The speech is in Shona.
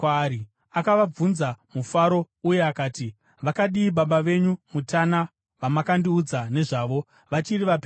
Akavabvunza mufaro, uye akati, “Vakadii baba venyu, mutana, vamakandiudza nezvavo? Vachiri vapenyu here?”